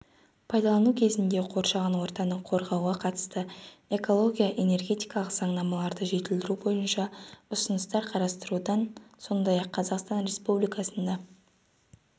пайдалану кезінде қоршаған ортаны қорғауға қатысты эколого-энергетикалық заңнамаларды жетілдіру бойынша ұсыныстар құрастырудан сондай-ақ қазақстан республикасында